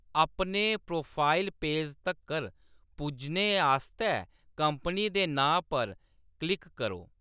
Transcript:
अपने profile page तक्कर पुज्जने आस्तै कंपनी दे नांऽ पर क्लिक करो।